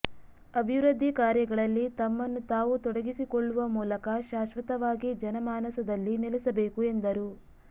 ಅಭಿವೃದ್ಧಿ ಕಾರ್ಯಗಳಲ್ಲಿ ತಮ್ಮನ್ನು ತಾವು ತೊಡಗಿಸಿಕೊಳ್ಳುವ ಮೂಲಕ ಶಾಶ್ವತವಾಗಿ ಜನಮಾನಸದಲ್ಲಿ ನಲೆಸಬೇಕು ಎಂದರು